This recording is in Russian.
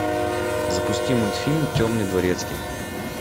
запусти мультфильм темный дворецкий